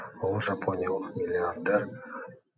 ол жапониялық миллиардер